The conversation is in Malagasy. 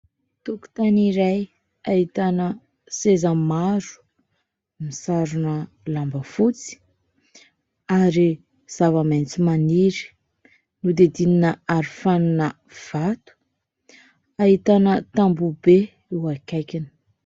Tokotany iray ahitana seza maro misarona lamba fotsy ary zava-maitso maniry hodidinina arofanina vato, ahitana tamboho be eo akaikiny.